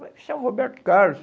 mas isso é o Roberto Carlos.